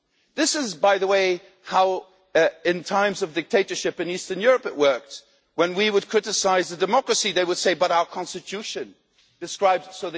This is, by the way, how it worked in times of dictatorship in Eastern Europe when we would criticise democracy, they would say but our constitution describes